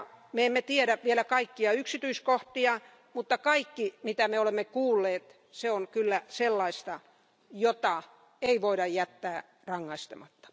Me emme tiedä vielä kaikkia yksityiskohtia, mutta kaikki se, mitä me olemme kuulleet, on kyllä sellaista, jota ei voida jättää rankaisematta.